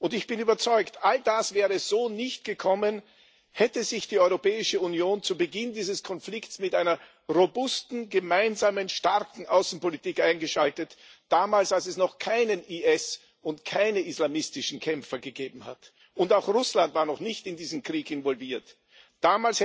Ich bin überzeugt All das wäre so nicht gekommen, hätte sich die Europäische Union zu Beginn dieses Konflikts mit einer robusten gemeinsamen, starken Außenpolitik eingeschaltet damals, als es noch keinen IS und keine islamistischen Kämpfer gegeben hat, und auch Russland noch nicht in diesen Krieg involviert war.